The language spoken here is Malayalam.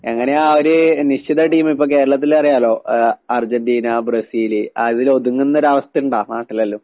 എങ്ങനെയാ ഒരു നിശ്ചിത ടീമിപ്പെ കേരളത്തിലറിയാലോ ആഹ് അർജന്റീനാ ബ്രസീല്. അതിലൊതുങ്ങുന്നൊരവസ്ഥിണ്ടാ നാട്ടിലെല്ലോം?